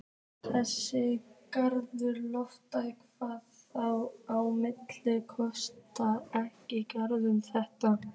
Þessi Galdra-Loftur hafði þá að minnsta kosti ekki galdrað þetta.